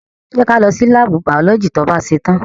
Jẹ́ kí a lọ sí láàbù biology to bá ṣetán.